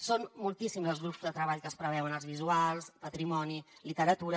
són moltíssims els grups de treball que es preveuen arts visuals patrimoni literatura